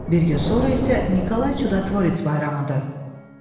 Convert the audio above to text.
Bir gün sonra isə Nikolay Çudatvorets bayramıdır.